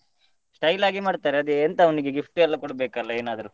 Style ಆಗಿ ಮಾಡ್ತಾರೆ ಅದೇ ಎಂತ ಅವನಿಗೆ gift ಎಲ್ಲ ಕೊಡ್ಬೇಕಲ್ಲ ಏನಾದ್ರೂ?